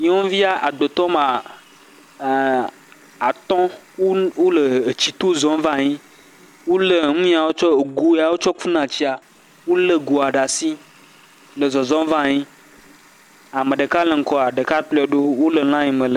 Nyɔnuvia …, atɔ̃ wole etsi to zɔ va anyi, wole nuya wo go ya wotsɔ kuna tsia wolé goa ɖe asi le zɔzɔm va anyi, ame ɖeka le ŋgɔa, ɖeka kplɔe ɖo, wole layi me le…